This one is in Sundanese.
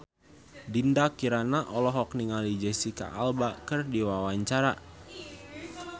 Dinda Kirana olohok ningali Jesicca Alba keur diwawancara